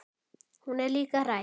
Hún er líka hrædd.